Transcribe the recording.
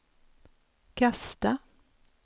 kasta